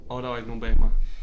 Åh der var ikke nogen bag mig